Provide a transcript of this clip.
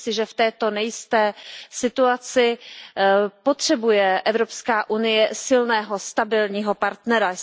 Myslím si, že v této nejisté situaci potřebuje Evropská unie silného, stabilního partnera.